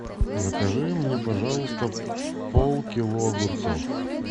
закажи мне пожалуйста полкило огурцов